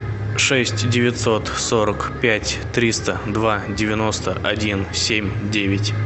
шесть девятьсот сорок пять триста два девяносто один семь девять